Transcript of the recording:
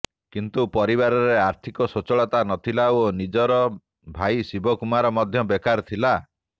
କିନ୍ତୁ ପରିବାରରେ ଆର୍ଥିକ ସ୍ବଚ୍ଛଳତା ନ ଥିଲା ଓ ନିଜର ଭାଇଶିବକୁମାର ମଧ୍ୟ ବେକାର ଥିଲା